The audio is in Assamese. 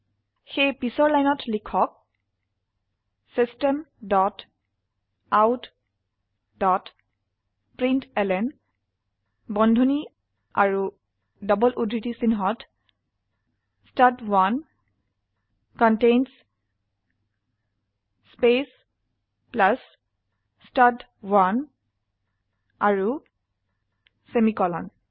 সেয়ে পিছত লাইনত লিখক system dot out dot println বন্ধনী আৰু ডবল উদ্ধৃতি চিনহত ষ্টাড1 কণ্টেইনছ স্পেস প্লাস ষ্টাড1 আৰু সেমিকোলন